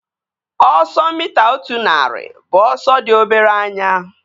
Ọsọ mita otu narị bụ ọsọ dị obere anya